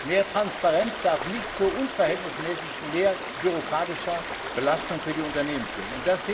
Mehr Transparenz darf nicht zu unverhältnismäßig mehr bürokratischer Belastung für die Unternehmen führen.